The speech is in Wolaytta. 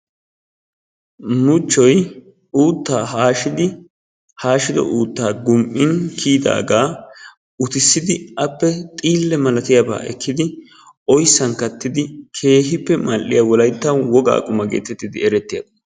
Muchchoy uutta haashidi, haashido uuttaa gum''in kiyyidaaga utissidi appe xiille malatiyaaba ekkidi oyssan kattiin keehippe mal''iyaa Wolaytta woga quma getettidi eretiyaaba.